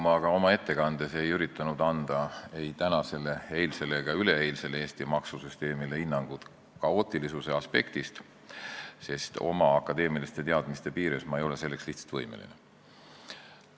Ma ka oma ettekandes ei üritanud anda ei tänasele, eilsele ega üleeilsele Eesti maksusüsteemile hinnangut kaootilisuse aspektist, sest oma akadeemiliste teadmiste piires ei ole ma selleks lihtsalt võimeline.